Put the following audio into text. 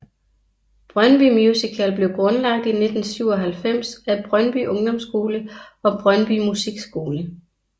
Brøndby Musical blev grundlagt i 1997 af Brøndby Ungdomsskole og Brøndby Musikskole